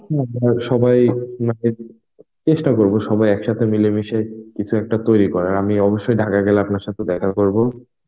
আর সবাই মানে চেষ্টা করবো সবাই একসাথে মিলেমিশে কিছু একটা তৈরি করার. আমি অবশ্যই ঢাকা গেলে আপনার সাথে দেখা করবো.